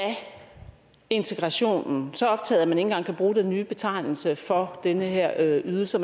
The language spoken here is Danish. integrationen så optaget at man ikke engang kan bruge den nye betegnelse for den her ydelse